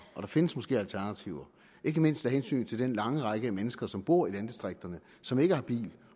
der findes måske alternativer ikke mindst af hensyn til den lange række af mennesker som bor i landdistrikterne som ikke har bil